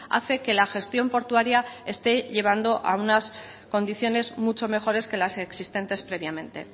hace que la gestión portuaria esté llevando a unas condiciones mucho mejores que las existentes previamente